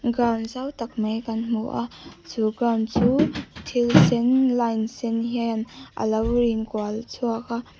zau tak mai kan hmu a chu ground chu thil sen line sen hian alo in kual chhuak a.